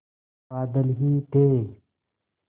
बादल ही थे